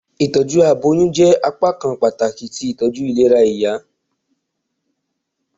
Itọju aboyun jẹ apakan pataki ti itọju ilera ti iya.